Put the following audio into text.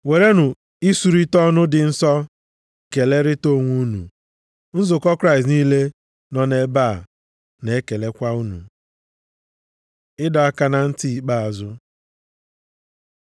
Werenụ isurita ọnụ dị nsọ, kelerịta onwe unu. Nzukọ Kraịst niile nọ nʼebe a na-ekelekwa unu. Ịdọ aka na ntị ikpeazụ